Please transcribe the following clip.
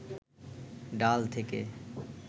ডাল থেকে